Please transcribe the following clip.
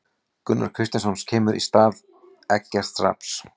Gunnar Kristjánsson kemur inn í stað Eggerts Rafns.